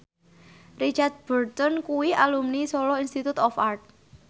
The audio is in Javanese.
Richard Burton kuwi alumni Solo Institute of Art